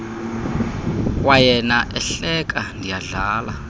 kwayena ehleka ndiyadlala